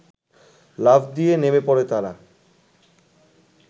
লাফ দিয়ে নেমে পড়ে তারা